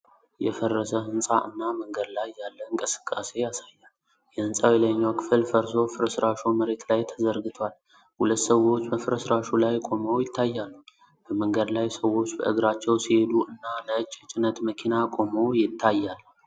የፈረሰ ሕንፃ እና መንገድ ላይ ያለ እንቅስቃሴ ያሳያል። የሕንፃው የላይኛው ክፍል ፈርሶ ፍርስራሹ መሬት ላይ ተዘርግቷል። ሁለት ሰዎች በፍርስራሹ ላይ ቆመው ይታያሉ። በመንገድ ላይ ሰዎች በእግራቸው ሲሄዱ እና ነጭ የጭነት መኪና ቆሞ ይታያል። አንዲት ሴት ዣንጥላ ይዛለች።